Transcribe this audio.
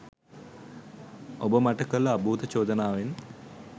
ඔබ මට කළ අභූත චෝදනාවෙන්